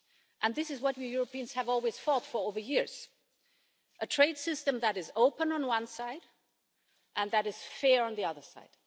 And this is what we Europeans have always fought for over the years a trade system that is open on one side and that is fair on the other side.